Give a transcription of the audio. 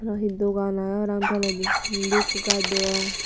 aro he dogan aage parapang toledi indi ekko gaj degong.